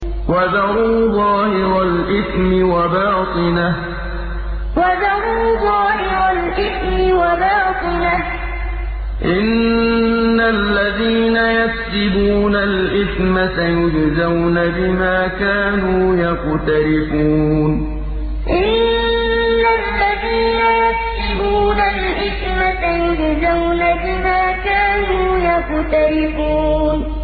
وَذَرُوا ظَاهِرَ الْإِثْمِ وَبَاطِنَهُ ۚ إِنَّ الَّذِينَ يَكْسِبُونَ الْإِثْمَ سَيُجْزَوْنَ بِمَا كَانُوا يَقْتَرِفُونَ وَذَرُوا ظَاهِرَ الْإِثْمِ وَبَاطِنَهُ ۚ إِنَّ الَّذِينَ يَكْسِبُونَ الْإِثْمَ سَيُجْزَوْنَ بِمَا كَانُوا يَقْتَرِفُونَ